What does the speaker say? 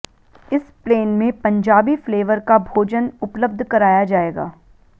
इस प्लेन में पंजाबी फ्लेवर का भोजन उपलब्ध कराया जाएगा